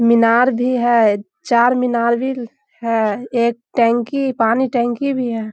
मीनार भी है चारमीनार भी है एक टंकी पानी टंकी भी है।